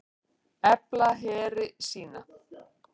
Efla heri sína